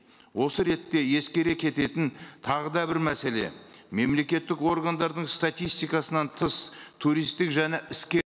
осы ретте ескере кететін тағы да бір мәселе мемлекеттік органдардың статистикасынан тыс туристік және іске